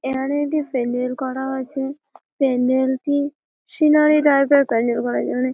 এখানে একটি প্যান্ডেল করা হয়েছে প্যান্ডেলটি সিনারী টাইপ -এর প্যান্ডেল করা হয়েছে ওনে ।